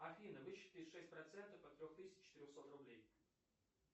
афина высчитай шесть процентов от трех тысяч четырехсот рублей